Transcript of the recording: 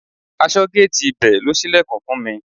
Aṣọ́géètì ibẹ̀ ló ṣílẹ̀kùn fún mi.